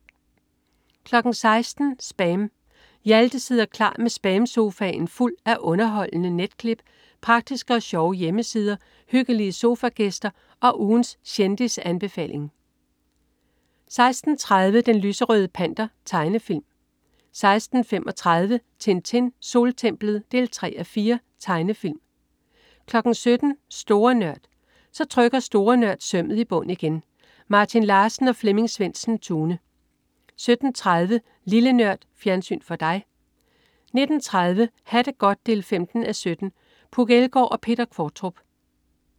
16.00 SPAM. Hjalte sidder klar med SPAM-sofaen fuld af underholdende netklip, praktiske og sjove hjemmesider, hyggelige sofagæster og ugens kendisanbefaling 16.30 Den lyserøde Panter. Tegnefilm 16.35 Tintin. Soltemplet 3:4. Tegnefilm 17.00 Store Nørd. Så trykker Store Nørd sømmet i bund igen. Martin Larsen og Flemming Svendsen-Tune 17.30 Lille Nørd. Fjernsyn for dig 19.30 Ha' det godt. 15:17 Puk Elgård og Peter Qvortrup